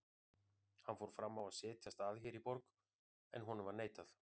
Hann fór fram á að setjast að hér í borg, en honum var neitað.